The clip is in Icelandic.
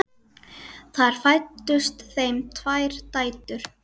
Þar fæddust þeim tvær dætur.